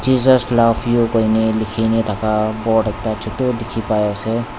jesus loves you koine likhe ni thaka board ekta chotu dekhi pai ase.